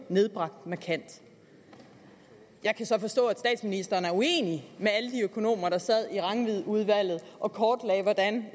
nedbragt markant jeg kan så forstå at statsministeren er uenig med alle de økonomer der sad i rangvidudvalget og kortlagde hvordan